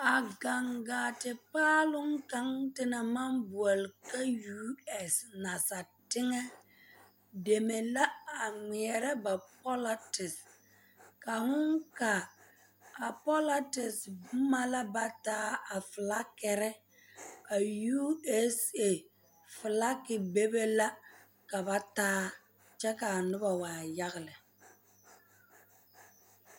Gaŋ gaa paaloŋ kaŋa te naŋ maŋ boɔle ka yuu ɛɛse nasapaaloŋ teŋɛ deme la a ŋmeɛrɛ pɔlɔtese ka fooŋ kaa a pɔlɔtese boma la ba taa a filakiri a yuu ɛɛsee filaki bebe la ka ba taa kyɛ ka a noba waa yaga lɛ.